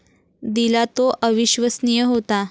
दिला तो अविश्वसनीय होता.